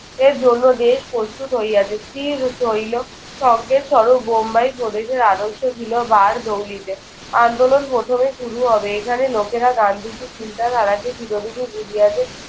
এর জন্য দেশ প্রস্তুত হইয়াছে। হইল। সঙ্গে সড়ক বোম্বাই প্রদেশের আদর্শ ছিল বার জঙ্গীদের। আন্দোলন প্রথমে শুরু হবে। এখানে লোকেরা গান্ধীজির চিন্তাধারাকে চিরদিনই বুঝিয়াছে।